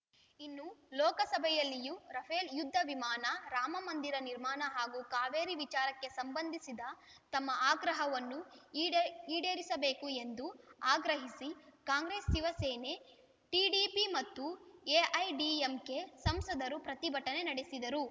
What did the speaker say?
ಇನ್ನು ಲೋಕಸಭೆಯಲ್ಲಿಯೂ ರಫೇಲ್‌ ಯುದ್ಧ ವಿಮಾನ ರಾಮಮಂದಿರ ನಿರ್ಮಾಣ ಹಾಗೂ ಕಾವೇರಿ ವಿಚಾರಕ್ಕೆ ಸಂಬಂಧಿಸಿದ ತಮ್ಮ ಆಗ್ರಹವನ್ನು ಈಡೇ ಈಡೇರಿಸಬೇಕು ಎಂದು ಆಗ್ರಹಿಸಿ ಕಾಂಗ್ರೆಸ್‌ ಶಿವಸೇನೆ ಟಿಡಿಪಿ ಮತ್ತು ಎಐಎಡಿಎಂಕೆ ಸಂಸದರು ಪ್ರತಿಭಟನೆ ನಡೆಸಿದರು